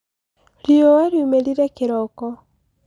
riua liumĩrire kĩroko